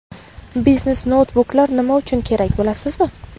Biznes-noutbuklar nima uchun kerak, bilasizmi?.